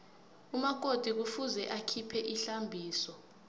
umakoti kufuze akhiphe ihlambiso